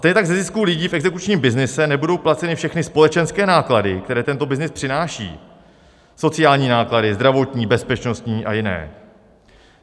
Stejně tak ze zisků lidí v exekučním byznyse nebudou placeny všechny společenské náklady, které tento byznys přináší, sociální náklady, zdravotní, bezpečnostní a jiné.